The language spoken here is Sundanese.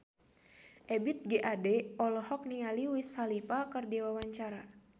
Ebith G. Ade olohok ningali Wiz Khalifa keur diwawancara